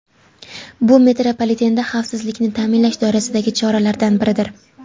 Bu metropolitenda xavfsizlikni ta’minlash doirasidagi choralardan biridir.